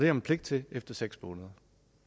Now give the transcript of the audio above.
man pligt til efter seks måneder